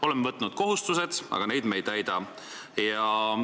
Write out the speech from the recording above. Oleme võtnud kohustused, aga me neid ei täida.